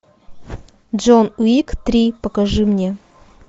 джон уик три покажи мне